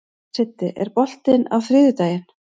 Siddi, er bolti á þriðjudaginn?